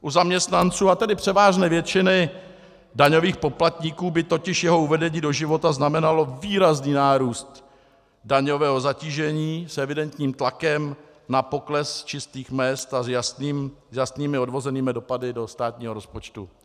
U zaměstnanců, a tedy převážné většiny daňových poplatníků by totiž jeho uvedení do života znamenalo výrazný nárůst daňového zatížení s evidentním tlakem na pokles čistých mezd a s jasnými odvozenými dopady do státního rozpočtu.